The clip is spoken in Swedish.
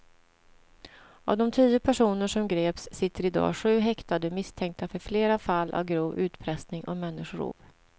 Av de tio personer som greps sitter i dag sju häktade misstänkta för flera fall av grov utpressning och människorov.